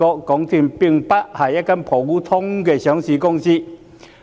"港鐵公司不止是一間普通的上市公司。